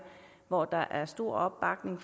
hvor der er stor opbakning